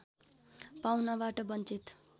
पाउनबाट वञ्चित